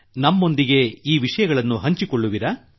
ನಮ್ಮೊಂದಿಗೆ ಈ ವಿಷಯಗಳನ್ನು ಹಂಚಿಕೊಳ್ಳುವಿರಾ